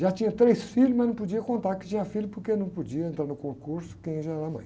Já tinha três filhos, mas não podia contar que tinha filhos porque não podia entrar no concurso quem já era mãe.